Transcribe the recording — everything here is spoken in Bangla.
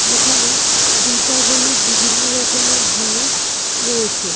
যেখানে দীপাবলির বিভন্ন রকমের জিনিস রয়েছে ।